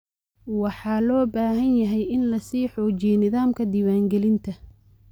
Waxa loo baahan yahay in la sii xoojiyo nidaamka diiwaangelinta.